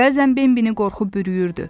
Bəzən Bambini qorxu bürüyürdü.